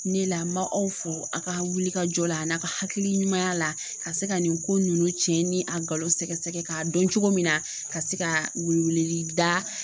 Ne la n ma aw fo a ka wulikajɔ la a n'a ka hakili ɲuman a la ka se ka nin ko ninnu cɛ ni a sɛgɛsɛgɛ k'a dɔn cogo min na ka se ka weleli da